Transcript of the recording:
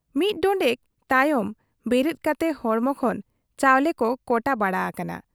ᱢᱤᱫ ᱰᱚᱸᱰᱮᱠ ᱛᱟᱭᱚᱢ ᱵᱮᱨᱮᱫ ᱠᱟᱛᱮ ᱦᱚᱲᱢᱚ ᱠᱷᱚᱱ ᱪᱟᱣᱞᱮ ᱠᱚ ᱠᱚᱴᱟ ᱵᱟᱲᱟ ᱟᱠᱟᱱᱟ ᱾